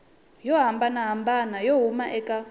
yo hambanahambana yo huma eka